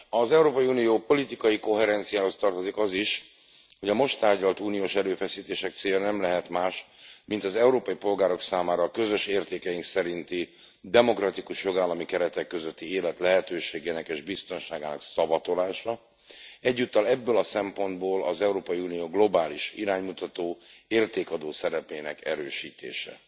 Az Európai Unió politikai koherenciájához tartozik az is, hogy a most tárgyalt uniós erőfeszítések célja nem lehet más, mint az európai polgárok számára a közös értékeink szerinti demokratikus jogállami keretek közötti élet lehetőségének és biztonságának szavatolása, egyúttal ebből a szempontból az Európai Unió globális iránymutató, értékadó szerepének erősítése.